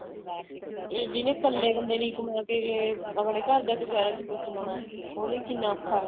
ਇਹ ਜਿਹਨੇ ਇੱਕਲੇ ਇੱਕਲੇ ਨੇ ਹੀ ਕਮਾਕੇ ਆਪਣੇ ਘਰ ਦਾ ਗੁਜਾਰਾ ਚਲਾਉਣਾ ਏ ਉਹ ਲਈ ਕਿੰਨਾ ਔਖਾ ਆ